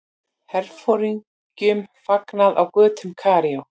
Herforingjum fagnað á götum Kaíró.